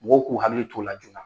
Mɔgɔw k'u hakili t'o la joona.